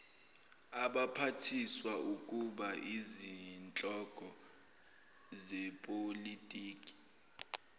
abaphathiswaukuba izinhloko zepolitiki